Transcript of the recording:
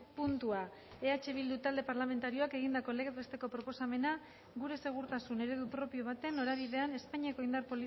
puntua eh bildu talde parlamentarioak egindako legez besteko proposamena gure segurtasun eredu propio baten norabidean espainiako indar